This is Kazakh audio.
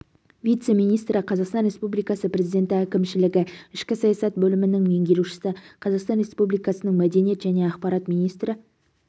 вице-министрі қазақстан республикасы президенті әкімшілігі ішкі саясат бөлімінің меңгерушісі қазақстан республикасының мәдениет және ақпарат министрі